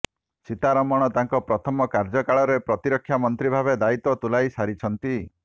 ସୀତାରମଣ ତାଙ୍କର ପ୍ରଥମ କାର୍ଯ୍ୟକାଳରେ ପ୍ରତିରକ୍ଷା ମନ୍ତ୍ରୀ ଭାବେ ଦାୟିତ୍ବ ତୁଲାଇସାରିଛନ୍ତି